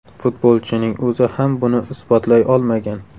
Futbolchining o‘zi ham buni isbotlay olmagan.